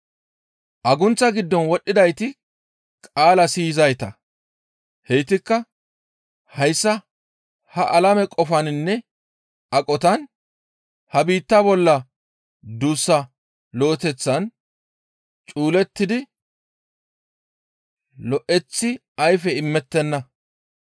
Agunththa giddon wodhdhidayti qaalaa siyizayta; heytikka hayssa ha alame qofaninne aqotan, ha biittaa bolla duussa lo7eteththan cuulettidi lo7eththi ayfe imettenna.